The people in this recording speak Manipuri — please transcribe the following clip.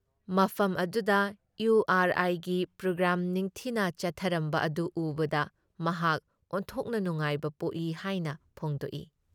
ꯃꯐꯝ ꯑꯗꯨꯗ ꯏꯌꯨ ꯑꯥꯔ ꯑꯥꯏꯒꯤ ꯄ꯭ꯔꯣꯒ꯭ꯔꯥꯝ ꯅꯤꯡꯊꯤꯅ ꯆꯠꯊꯔꯝꯕ ꯑꯗꯨ ꯎꯕꯗ ꯃꯍꯥꯛ ꯑꯣꯟꯊꯣꯛꯅ ꯅꯨꯡꯉꯥꯏꯕ ꯄꯣꯛꯏ ꯍꯥꯏꯅ ꯐꯣꯡꯗꯣꯛꯏ ꯫